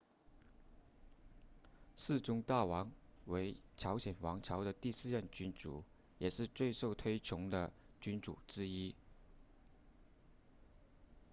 世宗大王为朝鲜王朝的第四任君主也是最受推崇的君主之一